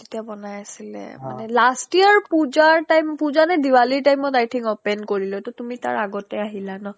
তেতিয়াই বনাই আছিলে last year puja ৰ time puja নে diwaliৰ timeত i think open কৰিলে টো তুমি তাৰ আগতে আহিলা নহ্